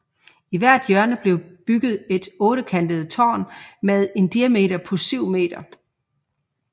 I hvert hjørne blev bygget et ottekantet tårn med en diameter på syv meter